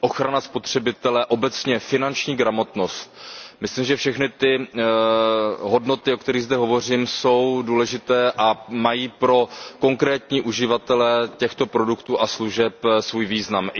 ochrana spotřebitele obecně finanční gramotnost, myslím, že všechny ty hodnoty, o kterých zde hovořím, jsou důležité a mají pro konkrétní uživatele těchto produktů a služeb svůj význam.